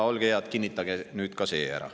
Olge head, kinnitage nüüd ka see ära.